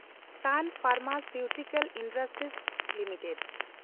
ᱥᱟᱱ pharmaceutical industries limited